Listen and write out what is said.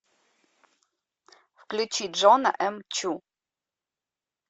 включи джона эм чу